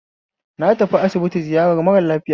Na tafi asibiti ziyarar mara lafiya